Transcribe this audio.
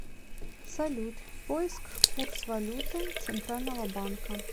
салют поиск курс валюты центрального банка